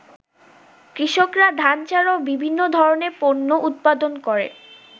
“কৃষকরা ধান ছাড়াও বিভিন্ন ধরনের পণ্য উৎপাদন করে।